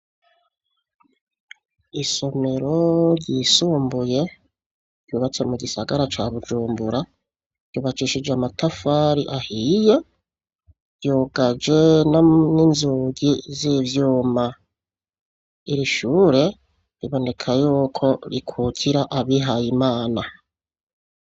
Isomero ryisumbuye rubatse mu gisagara ca bujumbura rubacishije amatafari ahiye ryogaje no n'inzugi z'ivyuma irishure riboneka yuko rikukira abihaye imana ana.